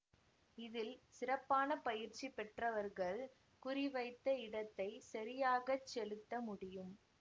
இதில் சிறப்பான பயிற்சி பெற்றவர்கள் குறிவைத்த இடத்தை சரியாக செலுத்த முடியும்